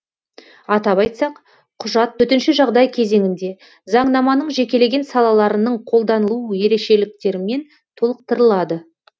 атап айтсақ құжат төтенше жағдай кезеңінде заңнаманың жекелеген салаларының қолданылу ерекшеліктерімен толықтырылады